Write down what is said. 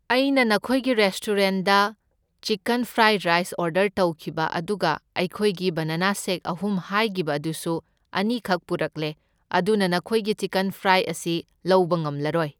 ꯑꯩꯅ ꯅꯈꯣꯏꯒꯤ ꯔꯦꯁꯇꯨꯔꯦꯟꯗ ꯆꯤꯛꯀꯟ ꯐ꯭ꯔꯥꯏ ꯔꯥꯏꯁ ꯑꯣꯔꯗꯔ ꯇꯧꯈꯤꯕ ꯑꯗꯨꯒ ꯑꯩꯈꯣꯏꯒꯤ ꯕꯅꯥꯅ ꯁꯦꯛ ꯑꯍꯨꯝ ꯍꯥꯏꯒꯤꯕ ꯑꯗꯨꯁꯨ ꯑꯅꯤꯈꯛ ꯄꯨꯔꯛꯂꯦ, ꯑꯗꯨꯅ ꯅꯈꯣꯏꯒꯤ ꯆꯤꯛꯀꯟ ꯐ꯭ꯔꯥꯏ ꯑꯁꯤ ꯂꯧꯕ ꯉꯝꯂꯔꯣꯢ꯫